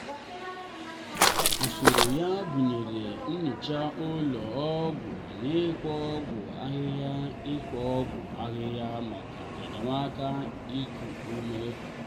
usoro ya gụnyere nyocha ụlọ ọgwụ na ikpo ọgwụ ahịhịa ikpo ọgwụ ahịhịa maka enyemaka iku ume.